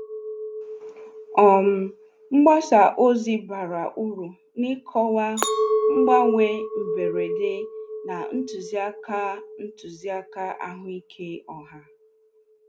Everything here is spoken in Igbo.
um Mgbasa ozi bara uru n'ịkọwa mgbanwe mberede na ntụzịaka ntụzịaka ahụike ọha.